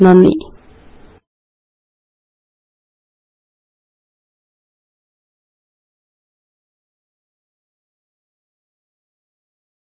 നന്ദി പിന്നെ കാണാം